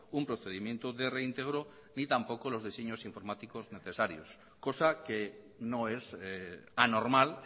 un procedimiento de reintegro ni tampoco los diseños informáticos necesarios cosa que no es anormal